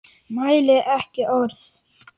Mælir ekki orð.